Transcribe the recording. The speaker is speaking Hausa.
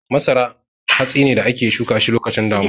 Masara hatsi ne da ake shuka shi lokacin damina.